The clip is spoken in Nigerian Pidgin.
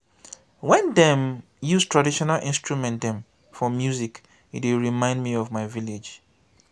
wen dem use traditional instrument dem for music e dey remind me of my village.